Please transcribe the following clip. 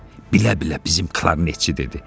Bilə-bilə bizim klarnetçi dedi,